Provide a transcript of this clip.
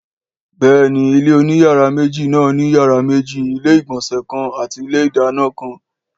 Béèni ilé oní yàrá méjì náà ní yàrá méjì, ilé ìgbònsè kan àti ilé ìdáná kan